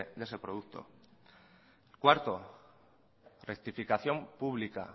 de ese producto cuarto rectificación pública